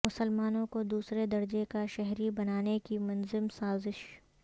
مسلمانوں کو دوسرے درجہ کا شہری بنانے کی منظم سازش